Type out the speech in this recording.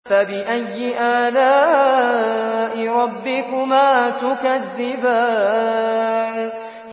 فَبِأَيِّ آلَاءِ رَبِّكُمَا تُكَذِّبَانِ